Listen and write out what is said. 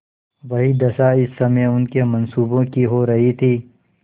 वही दशा इस समय उनके मनसूबों की हो रही थी